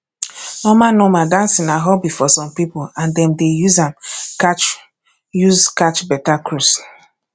normal normal dancing na hobby for some pipo and dem dey use am catch use am catch better cruise